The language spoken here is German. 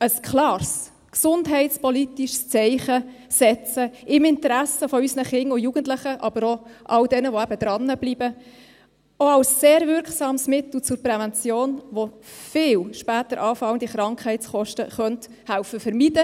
Ein klares gesundheitspolitisches Zeichen setzen im Interesse von unseren Kindern und Jugendlichen, aber auch all diesen, die dranbleiben, und ein sehr wirksames Mittel zur Prävention, das viele später anfallende Krankheitskosten vermeiden helfen könnte.